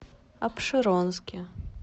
апшеронске